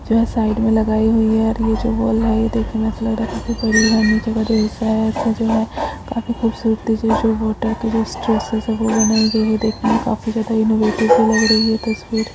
को है साइड में लगाई हुई है और ये जो जो है काफी खूबसूरतीसे जो बोट है बनाई गयी है ये देखने में काफी ज्यादा इनोवेटिव लग रही है तस्वीर।